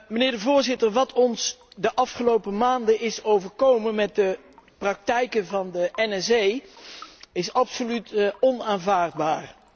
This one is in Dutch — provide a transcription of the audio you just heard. Meneer de Voorzitter, wat ons de afgelopen maanden is overkomen met de praktijken van de NSA is absoluut onaanvaardbaar.